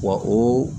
Wa o